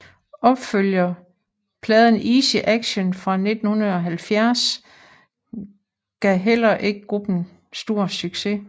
Opfølgerpladen Easy Action fra 1970 gav heller ikke gruppen stor succes